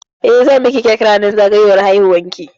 Eh, zan miki cake ranar zagayowar haihuwar ki?